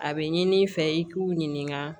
A bɛ ɲini i fɛ i k'u ɲininka